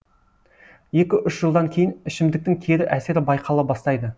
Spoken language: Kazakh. екі үш жылдан кейін ішімдіктің кері әсері байқала бастайды